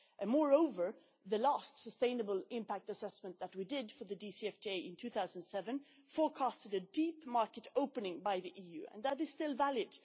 Moreover, the last sustainable impact assessment that we did for the DCFTA in 2007 forecast a deep market opening by the EU, and that is still valid.